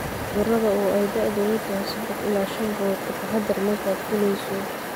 cudurada), oo ay da'doodu tahay saddex ilaa shan bilood. Ka taxadar markaad fuulayso